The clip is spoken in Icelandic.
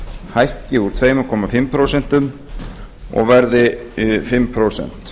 hækki úr tveimur og hálft prósent og verði fimm prósent